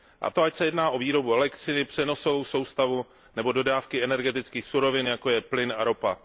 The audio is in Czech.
A to ať se jedná o výrobu elektřiny, přenosovou soustavu nebo dodávky energetických surovin, jako je plyn a ropa.